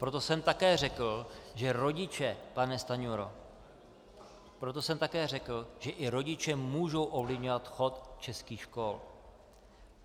Proto jsem také řekl, že rodiče, pane Stanjuro, proto jsem také řekl, že i rodiče můžou ovlivňovat chod českých škol.